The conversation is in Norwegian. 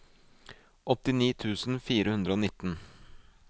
åttini tusen fire hundre og nitten